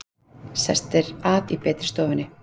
Sestir að í betri stofunni!